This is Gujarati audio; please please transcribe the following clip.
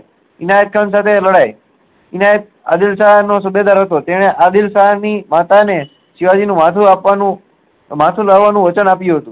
એનાયત ખાન સાથે લડાઈ એનાયત આદીલ શાહ નો સુબેદાર હતો જેને આદીલ શાહ ની માતા ને શિવાજી નું માથું આપવાનું માથું લાવા નું વચન આપ્યું હતું